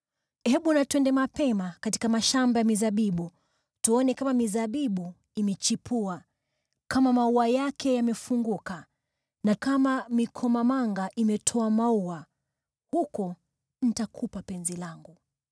Hebu na twende mapema katika mashamba ya mizabibu tuone kama mizabibu imechipua, kama maua yake yamefunguka, na kama mikomamanga imetoa maua: huko nitakupa penzi langu.